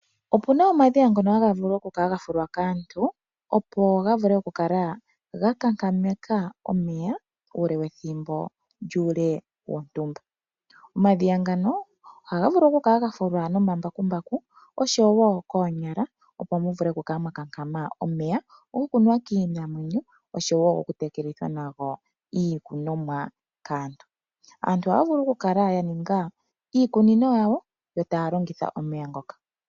Opuna omadhiya ngono haga fulwa kaantu, opo ga vule oku kala gakankameka omeya uule wethimbo lyontumba. Omadhiya ngano ohaga vulu okukala gafulwa nomambakumbaku oshowo koonyala, opo mu vule kukankama omeya. Omeya ngano ohaga nuwa kiinamwenyo nenge gokulongitha okutelela iikunomwa kaantu. Aantu ohaya vulu oku kala yaninga iikunino yawo yo taya longitha omeya ngoka.